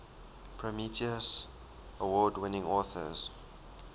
prometheus award winning authors